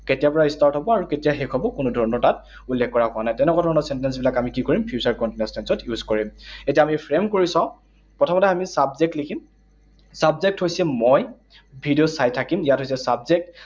কেতিয়াৰ পৰা start হব আৰু কেতিয়া শেষ হব, কোনো ধৰণৰ তাত উল্লেখ কৰা হোৱা নাই। তেনেকুৱা ধৰণৰ sentence বিলাক আমি কি কৰিম? Future continuous tense ত use কৰিম। এতিয়া আমি frame কৰি চাওঁ। প্ৰথমতে আমি subject লিখিম। Subject হৈছে মই, ভিডিঅ চাই থাকিম। ইয়াত হৈছে subject